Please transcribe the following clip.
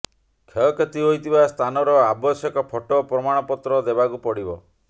କ୍ଷୟକ୍ଷତି ହୋଇଥିବା ସ୍ଥାନର ଆବଶ୍ୟକ ଫଟୋ ପ୍ରମାଣପତ୍ର ଦେବାକୁ ପଡିବ